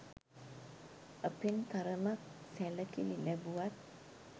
අපෙන් තරමක් සැලකිලි ලැබුවත්